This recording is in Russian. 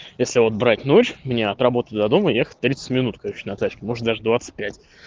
если вот брать ночь мне от работы до дома ехать тридцать минут короче на тачке может даже двадцать пять